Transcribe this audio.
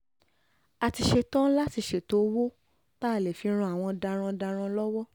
a ti ṣetán láti ṣètò owó tá a lè fi ran àwọn darandaran lọ́wọ́